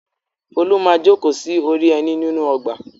Folú máa jókòó sí orí ẹní nínú ọgbà.